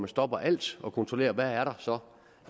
stopper alt og kontrollerer hvad der så